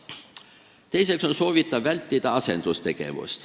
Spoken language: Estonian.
Teiseks on soovitav vältida asendustegevust.